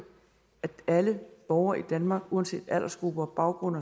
at alle borgere i danmark uanset aldersgruppe baggrund